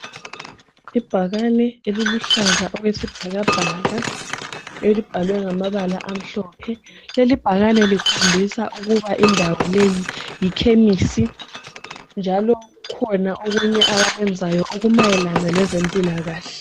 Ibhakane eluhlaza okwesbhakabhaka elikhulu litshengisa ukuthi indawo yikhemnisi njalo yenza izinto ezimayelama lezempilakahle.